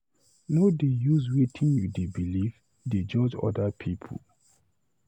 No dey use wetin you dey beliv dey judge other pipu.